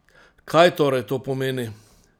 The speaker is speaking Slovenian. Kaj torej to pomeni?